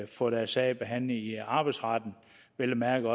få deres sag behandlet i arbejdsretten og vel at mærke